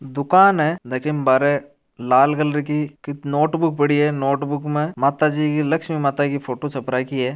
दुकान है जकी में बारे लाल कलर की नोट बुक पड़ी है नोट बुक में माताजी की लक्ष्मी माता की फोटो छप राखी है।